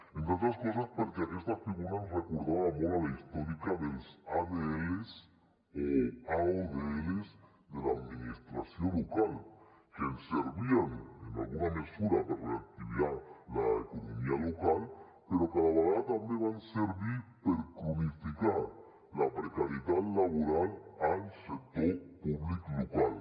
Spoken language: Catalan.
entre altres coses perquè aquesta figura ens recordava molt a la històrica dels adls o aodls de l’administració local que ens servien en alguna mesura per reactivar l’economia local però que a la vegada també van servir per cronificar la precarietat laboral al sector públic local